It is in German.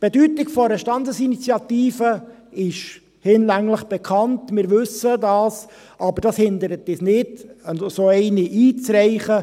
Die Bedeutung einer Standesinitiative ist hinlänglich bekannt, wir wissen es, aber es hindert uns nicht daran, eine solche einzureichen.